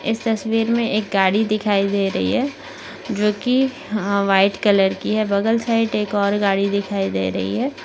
इस तस्वीर मे एक गाड़ी दिखाई दे रही है जो की अहा व्हाइट कलर की है बगल साइट एक और गाड़ी दिखाई दे रही है।